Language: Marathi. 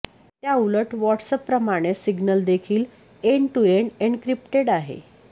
त्या उलट व्हॉट्सअॅपप्रमाणेच सिग्नलदेखील एंड टू एंड एन्क्रिप्टेड आहे